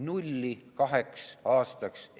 Nulli kaheks aastaks.